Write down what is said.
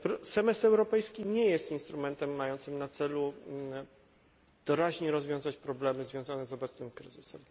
Semestr europejski nie jest instrumentem mającym na celu doraźne rozwiązanie problemów związanych z obecnym kryzysem.